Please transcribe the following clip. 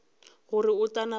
gore o tla napa a